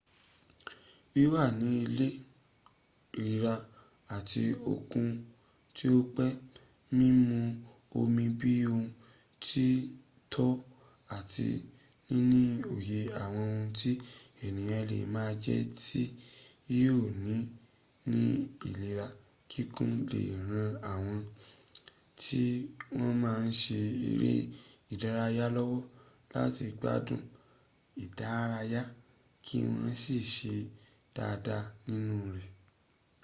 wíwà ní ìlera àti okun tí ó pé mímú omi bí oh ti tọ́ àti níní òye àwọn ohun tí ẹniyàn lè máa jẹ tí yóò fún ni ní ìlera kíkún lè ran àwọn tí wọn máa n ṣe eré ìdárayá lọ́wọ́ láti gbádun ìdárayá kí wọ́n sì ṣe dáadáa nínú rẹ̀